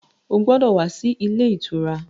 Ó gbọ́dọ̀ wá sí ilé ìtura!